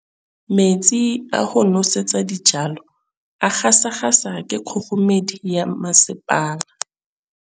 Metsi a go nosetsa dijalo a gasa gasa ke kgogomedi ya masepala.